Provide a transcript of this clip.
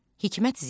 Hikmət Ziya.